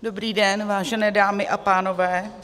Dobrý den vážené dámy a pánové.